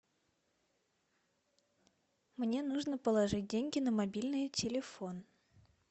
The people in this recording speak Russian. мне нужно положить деньги на мобильный телефон